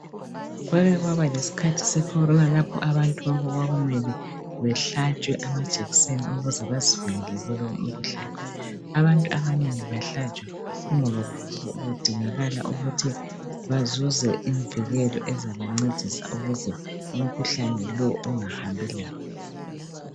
Kwakekwabalesikhathi sekhorona lapho abantu bonke kwakumele bahlatshwe amajekiseni ukuze bazivikele kulowo mkhuhlane abantu abanengi bahlatshwa kungoba kudingakala ukuthi bazuze imvikelo ezabancedisa ukuze umkhuhlane lo ungahambilabo